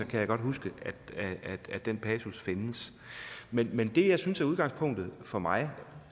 kan jeg godt huske at den passus findes men men det jeg synes er udgangspunktet for mig